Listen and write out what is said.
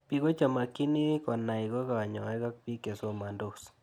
Piko che kimakchini konai ko kanyoik ak pik che somandos